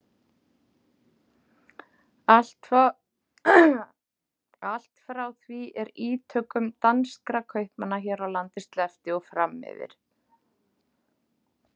Allt frá því er ítökum danskra kaupmanna hér á landi sleppti og fram yfir